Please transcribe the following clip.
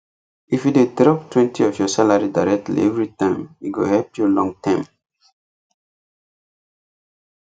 if you dey droptwentyof your salary directly every time e go help you long term